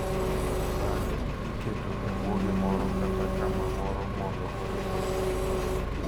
Bang’e, iketo e bwo gimoro kata kama moro mondo oyud ber.